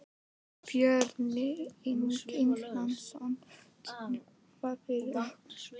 Björn Ingi Hrafnsson: Útskýrðu það fyrir okkur?